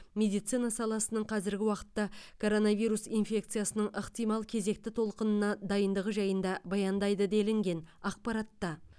медицина саласының қазіргі уақытта коронавирус инфекциясының ықтимал кезекті толқынына дайындығы жайында баяндайды делінген ақпаратта